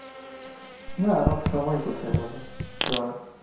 না আমার সময় কোথায় বলেন যাওয়ার?